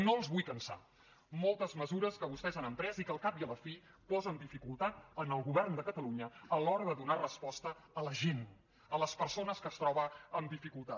no els vull cansar moltes mesures que vostès han emprès i que al cap i a la fi posen dificultat al govern de catalunya a l’hora de donar resposta a la gent a les persones que es troben amb dificultat